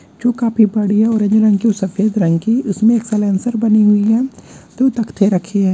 जो काफी बढ़िया ऑरेंज रंग की और सफेद रंग की उसमें एक साइलेंसर बनी हुई है दो तक्थे रखे हैं।